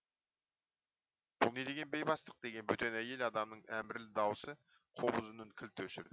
бұл не деген бейбастық деген бөтен әйел адамның әмірлі даусы қобыз үнін кілт өшірді